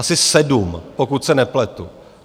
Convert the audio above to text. Asi sedm, pokud se nepletu.